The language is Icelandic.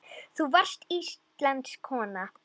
Þú varst íslensk kona.